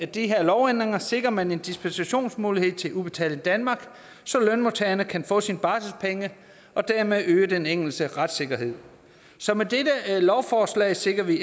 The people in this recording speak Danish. de her lovændringer sikrer man en dispensationsmulighed til udbetaling danmark så lønmodtageren kan få sine barselspenge og dermed øges den enkeltes retssikkerhed så med dette lovforslag sikrer vi